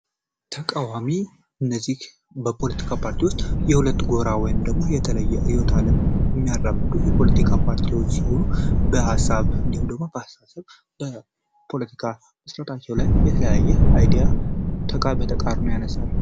ተቃዋሚዎች እነዚህ በፖለቲካ ፓርቲ የተለየ ጎራ ውስጥ የሚያራምዱ ፓርቲዎች ሲሆኑ በሀሳብ ወይም በአስተሳሰብ በፖለቲካ አስተያየታቸው ላይ ተቃርኖ ያሳርፋል።